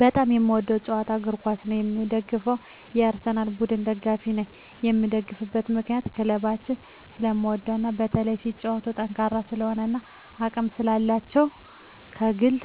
በጣም የምወደዉ ጨዋታ እግርኳስ ነዉ የምደግፈዉም የአርሰላን ቡድን ደጋፊ ነኝ የምደግፍበት ምክንያት ክለቡን ስለምወደዉ እና በተለይም ሲጫወቱም ጠንካራ ስለሆኑ እና አቅም ስላላቸዉ ከግብ